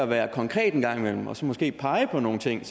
være konkret en gang imellem og så måske pege på nogle ting